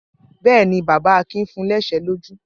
Bẹ́ẹ̀ ni, bàbá Akin fun ní ẹ̀ṣẹ́ lójú.